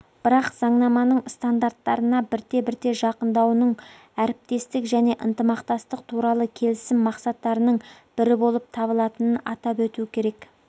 бірақ заңнаманың стандарттарына бірте-бірте жақындауының мен әріптестік және ынтымақтастық туралы келісім мақсаттарының бірі болып табылатынын атап өту керек